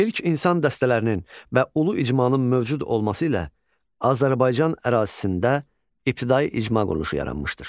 İlk insan dəstələrinin və ulu icmanın mövcud olması ilə Azərbaycan ərazisində ibtidai icma quruluşu yaranmışdır.